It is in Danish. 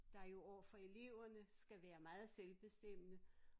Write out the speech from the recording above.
Der jo overfor eleverne skal være meget selvbestemmende